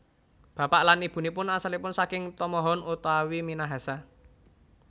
Bapak lan Ibunipun asalipun saking tomohon utawi Minahasa